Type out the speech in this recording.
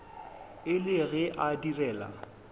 e le ge a direla